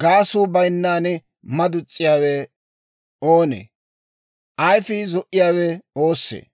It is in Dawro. Gaasuu bayinnan madus's'iyaawe oossee? Ayifii zo"iyaawe oossee?